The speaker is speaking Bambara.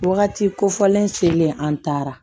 Wagati kofɔlen selen an taara